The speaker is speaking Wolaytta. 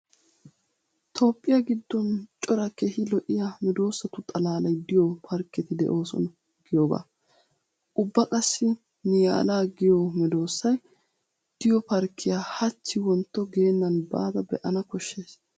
Toophphiya giddon cora keehi lo'iya meedosatu xalaalay diyo parkketi de'oosona giyogaa. Ubba qassi niyaala giyo meedoosay diyo parkkiya hachchi wontto geennan baada be'ana koshshays.